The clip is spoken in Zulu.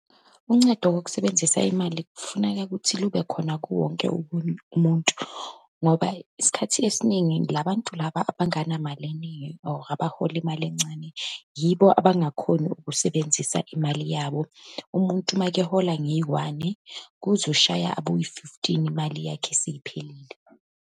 Uncedo kokusebenzisa imali, kufuneka ukuthi lube khona kuwo wonke umuntu, ngoba isikhathi esiningi la bantu laba abanganamali eningi, or abahola imali encane, yibo abangakhoni ukusebenzisa imali yabo. Umuntu uma-ke ehola ngeyi-one, kuzoshaya aboyi-fifteen, imali yakhe seyiphelile.